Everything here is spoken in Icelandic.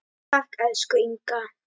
Takk, elsku Inga.